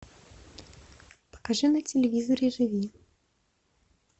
покажи на телевизоре живи